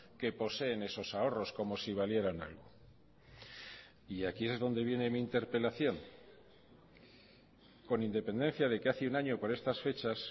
que poseen esos ahorros como si valieran algo y aquí es donde viene mi interpelación con independencia de que hace un año por estas fechas